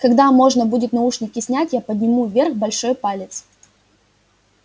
когда можно будет наушники снять я подниму вверх большой палец